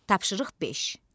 Tapşırıq beş.